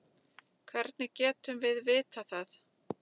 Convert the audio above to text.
Hvernig getum við vitað það?